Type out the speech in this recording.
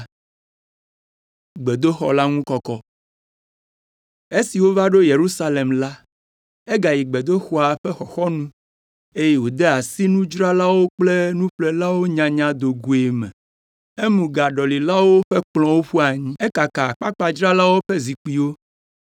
Esi wova ɖo Yerusalem la, egayi gbedoxɔa ƒe xɔxɔnu, eye wòde asi nudzralawo kple nuƒlelawo nyanya do goe me. Emu gaɖɔlilawo ƒe kplɔ̃wo ƒu anyi, ekaka akpakpadzralawo ƒe zikpuiwo,